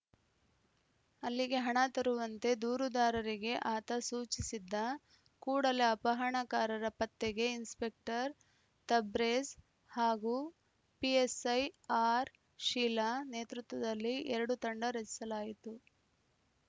ಅಲ್ಲಿಗೆ ಹಣ ತರುವಂತೆ ದೂರುದಾರರಿಗೆ ಆತ ಸೂಚಿಸಿದ್ದ ಕೂಡಲೇ ಅಪಹರಣಕಾರರ ಪತ್ತೆಗೆ ಇನ್ಸ್‌ಪೆಕ್ಟರ್‌ ತಬ್ರೇಜ್‌ ಹಾಗೂ ಪಿಎಸ್‌ಐ ಆರ್‌ಶೀಲಾ ನೇತೃತ್ವದಲ್ಲಿ ಎರಡು ತಂಡ ರಚಿಸಲಾಯಿತು